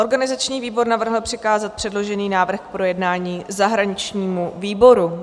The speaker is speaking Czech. Organizační výbor navrhl přikázat předložený návrh k projednání zahraničnímu výboru.